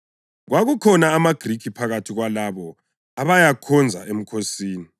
Kwakukhona amaGrikhi phakathi kwalabo abayakhonza emkhosini.